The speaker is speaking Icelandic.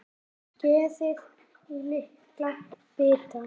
Skerið í litla bita.